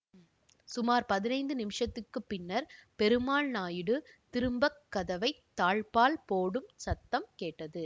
சுமார் பதினைந்து நிமிஷத்துக்குப் பின்னர் பெருமாள் நாயுடு திரும்பக் கதவை தாழ்ப்பாள் போடும் சத்தம் கேட்டது